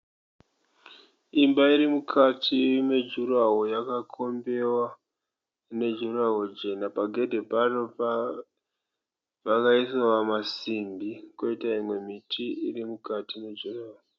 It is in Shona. Imba iri mukati mejuraho yakakombiwa nejuraho Jena pagedhe paro pakaiswa masimbi koita imwe miti iri mukati mujurahoo